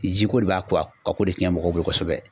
Jiko de b'a ko a ka ko de cɛn mɔgɔw bolo kosɛbɛ